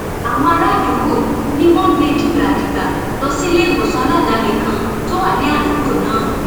àwọn àràádúgbò ni wọn gbé e dìgbàdìgbà lọ síléèwòsàn aládàáni kan tó wà ní àdúgbò náà